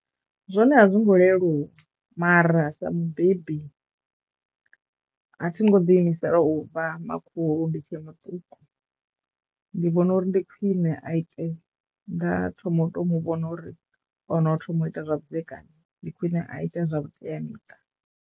Zwone a zwo ngo leluwa mara sa mubebi a thi ngo ḓiimisela u vha makhulu ndi tshe muṱuku ndi vhona uri ndi khwine a ite nda thoma u to mu vhona uri o no thoma u ita zwavhudzekani ndi khwine a ite zwa vhuteamiṱa.